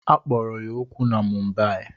A kpọrọ ya okwu na Mumbai